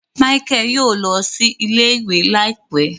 Michael yóò lọ sí ilé-ìwé láìpé